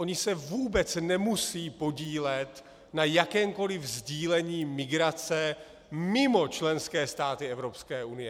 Oni se vůbec nemusejí podílet na jakémkoliv sdílení migrace mimo členské státy Evropské unie.